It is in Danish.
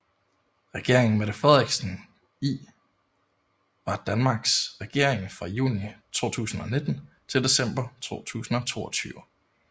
Regeringen Mette Frederiksen I var Danmarks regering fra juni 2019 til december 2022